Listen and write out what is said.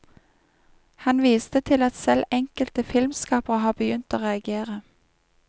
Han viste til at selv enkelte filmskapere har begynt å reagere.